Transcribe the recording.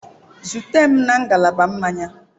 Zute m na ngalaba mmanya.